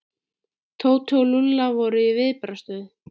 Tóti og Lúlli voru í viðbragðsstöðu.